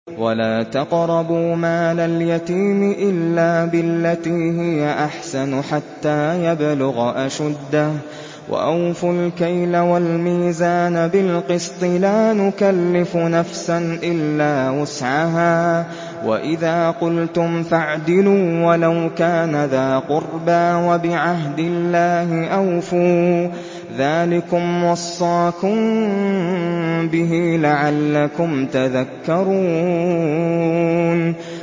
وَلَا تَقْرَبُوا مَالَ الْيَتِيمِ إِلَّا بِالَّتِي هِيَ أَحْسَنُ حَتَّىٰ يَبْلُغَ أَشُدَّهُ ۖ وَأَوْفُوا الْكَيْلَ وَالْمِيزَانَ بِالْقِسْطِ ۖ لَا نُكَلِّفُ نَفْسًا إِلَّا وُسْعَهَا ۖ وَإِذَا قُلْتُمْ فَاعْدِلُوا وَلَوْ كَانَ ذَا قُرْبَىٰ ۖ وَبِعَهْدِ اللَّهِ أَوْفُوا ۚ ذَٰلِكُمْ وَصَّاكُم بِهِ لَعَلَّكُمْ تَذَكَّرُونَ